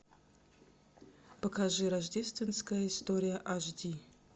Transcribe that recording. покажи рождественская история аш ди